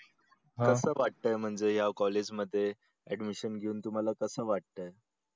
कस वाटतंय म्हणजे या college मध्ये admission घेऊन तुम्हाला कस वाटतंय?